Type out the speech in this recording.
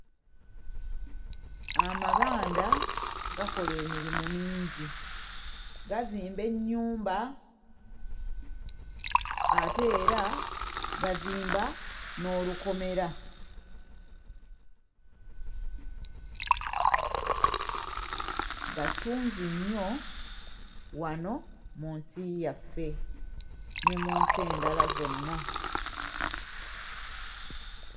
Amabanda gakola emirimu mingi. Gazimba ennyumba ate era gazimba n'olukomera. Ga ttunzi nnyo wano mu nsi yaffe ne mu nsi endala zonna.